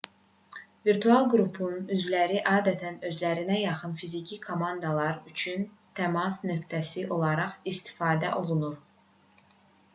virtual qrupun üzvləri adətən özlərinə yaxın fiziki komandalar üçün təmas nöqtəsi olaraq istifadə olunur